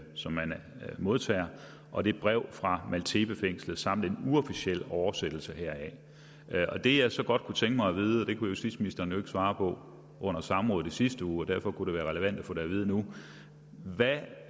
som man modtager og det brev fra maltepefængslet samt en uofficiel oversættelse heraf det jeg så godt kunne tænke mig at vide det kunne justitsministeren jo ikke svare på under samrådet i sidste uge og derfor kunne det være relevant at få det at vide nu